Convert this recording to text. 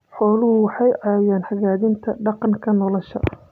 Xooluhu waxay caawiyaan hagaajinta deegaanka nolosha.